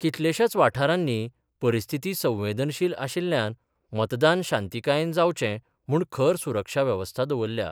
कितलेश्याच वाठारानी परिस्थीती संवेदनशिल आशिल्ल्यान मतदान शांतीकायेन जावचें म्हुण खर सुरक्षा व्यवस्था दवरल्या.